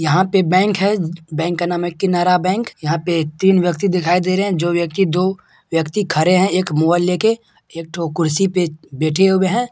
यहा पे बेंक है बंक का नाम है किनारा बंक यहा पे तीन व्यक्ति दिखाई दे रहै है जो व्यक्ति दो व्यक्ति खड़े है एक मोबाईल लेके एक ठो कुर्सी पे बेठे होबे है।